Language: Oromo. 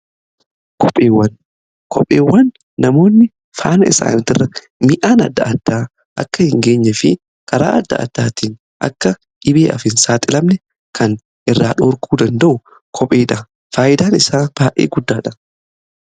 Kopheewwan namoonni faana isaanii irra mi'aan adda addaa akka hin geenye fi karaa adda addaatiin akka dhibeef hin saaxilamne kan irraa dhorkuu danda'u kopheedha. Faayidaan isaa baay'ee guddaadha.